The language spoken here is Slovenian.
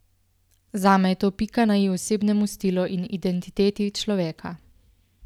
Zame je to pika na i osebnemu stilu in identiteti človeka.